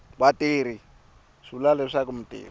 vatirhi swi vula leswaku mutirhi